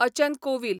अचन कोवील